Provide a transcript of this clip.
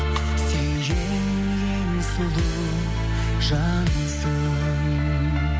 сен ең ең сұлу жансың